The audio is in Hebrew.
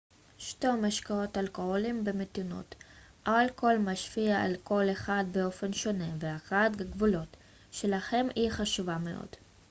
שתו משקאות אלכוהוליים במתינות אלכוהול משפיע על כל אחד באופן שונה והכרת הגבולות שלכם היא חשובה מאוד